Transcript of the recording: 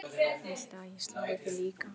Viltu að ég slái þig líka?